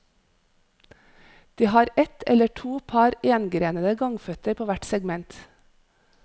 De har et eller to par engrenete gangføtter på hvert segment.